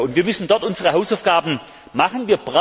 Wir müssen dort unsere Hausaufgaben machen.